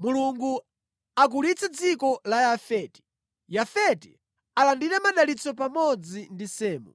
Mulungu akulitse dziko la Yafeti; Yafeti alandire madalitso pamodzi ndi Semu,